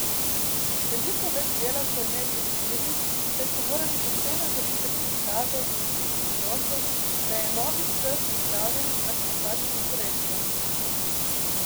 Veliko več dela so imeli inženirji, saj so morali pošteno zavihati rokave in pljuniti v roke, da je novi C pripravljen na spopad s konkurenco.